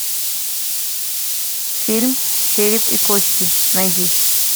фильм череп и кости найди